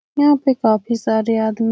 यहाँ पे काफी सारे आदम --